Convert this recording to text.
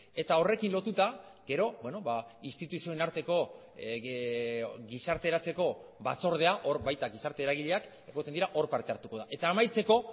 eta horrekin lotuta gero instituzioen arteko gizarteratzeko batzordea hor baita gizarte eragileak egoten dira hor parte hartuko da eta amaitzeko